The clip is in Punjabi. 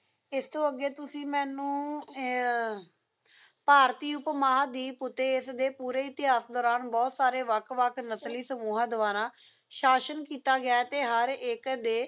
ਇਸ ਤੋਂ ਅਗੇ ਤੁਸੀ ਮੈਨੂੰ ਆ ਭਾਰਤੀ ਉਪਮਹਾਂਦੀਪ ਉੱਤੇ ਇਸ ਦੇ ਪੂਰੇ ਇਤਿਹਾਸ ਦੌਰਾਨ ਬਹੁਤ ਸਾਰੇ ਵਕ ਵਕ ਨਸਲੀ ਸਮੂਹ ਦੁਆਰਾ ਸ਼ਾਸਨ ਕੀਤਾ ਗਿਆ ਤੇ ਹਰ ਇਕ